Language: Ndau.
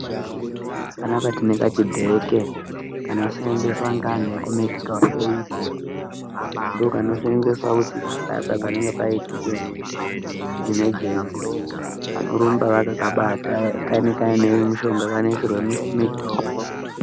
Panapa tine kachibheke kanoseenzeswa ngeanhu eku medhikalu eyidhi ndokanoseenzeswa kuti kana paya paya panenge paitike imejenzi vanorumba vakakabata kanenge kaine mishonga kanoisirwe mitombo.